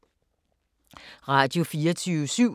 Radio24syv